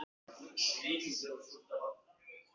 Hann hefur ekkert breyst heldur.